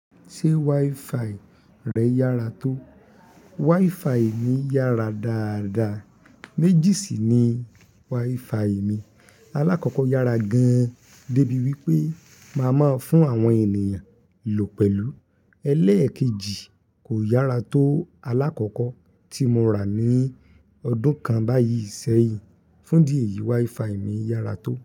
Ṣé wifi rẹ yára tó? Wifi mi yára dáadáa. Méjì sì ni wifi mi. Alákọ̀kọ yára gan-an débi wípé màá máa fún àwọn ènìyàn lò pẹ̀lú. Elékèjì kò yára tó alákọ̀kọ tí mo rà ní ọdún kan báyìí sẹ́yìn. Fún idi èyí, wifi mi yára tó.